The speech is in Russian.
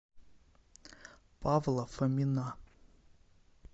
павла фомина